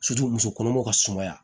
musokɔnɔmaw ka sumaya